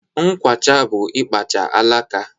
Nkwacha bụ ịkpacha alaka.